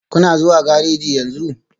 Kuna zuwa gareji yanzu?